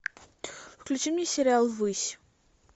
включи мне сериал высь